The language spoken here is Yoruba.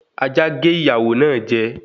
Ajá gé ìyàwó náà jẹ